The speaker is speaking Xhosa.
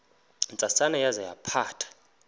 ntsasana yaza yaphatha